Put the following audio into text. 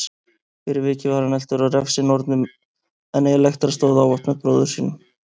Fyrir vikið var hann eltur af refsinornunum en Elektra stóð ávallt með bróður sínum.